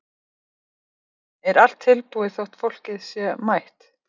Elín: Er allt tilbúið þótt fólkið sé mætt?